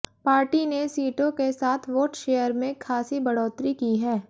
party ने सीटों के साथ वोट शेयर में खासी बढ़ोतरी की है